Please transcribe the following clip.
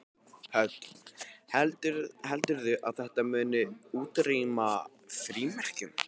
Hödd: Heldurðu að þetta muni útrýma frímerkjum?